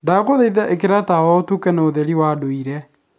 ndaguthaitha ikira tawa utuke na utheri wa nduire